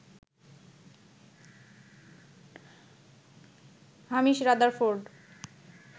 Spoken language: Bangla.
Hamish Rutherford